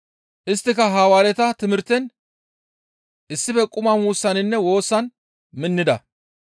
Isttika Hawaareta timirten, issife quma muussaninne woosan minnida.